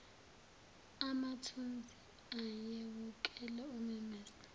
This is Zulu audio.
amathunzi ayewukela umemeze